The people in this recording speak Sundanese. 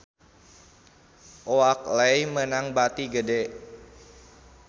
Oakley meunang bati gede